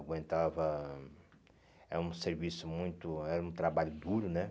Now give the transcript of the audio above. Aguentava... Era um serviço muito... Era um trabalho duro, né?